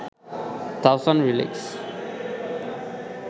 Tahsan lyrics